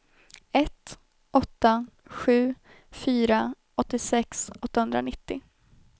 ett åtta sju fyra åttiosex åttahundranittio